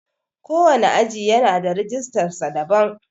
Ko wane aji yana da rijistar sa daban.